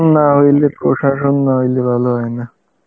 না অন্য প্রশাসন না হইলে ভালো হয় না